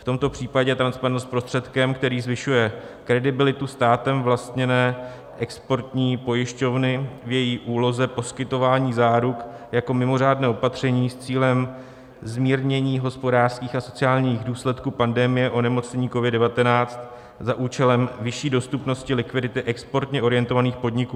V tomto případě je transparentnost prostředkem, který zvyšuje kredibilitu státem vlastněné exportní pojišťovny v její úloze poskytování záruk jako mimořádné opatření s cílem zmírnění hospodářských a sociálních důsledků pandemie onemocnění COVID-19 za účelem vyšší dostupnosti likvidity exportně orientovaných podniků.